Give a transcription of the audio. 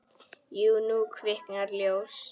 Jú, nú kviknar ljós.